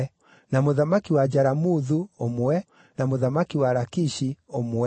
na mũthamaki wa Jaramuthu, ũmwe, na mũthamaki wa Lakishi, ũmwe,